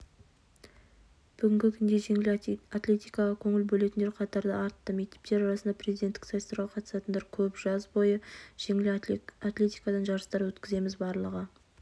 бүгінгі күнде жеңіл атлетикаға көңіл бөлетіндер қатары артты мектептер арасында президенттік сайыстарға қатысатындар көп жаз бойы жеңіл атлетикадан жарыстар өткіземіз барлығы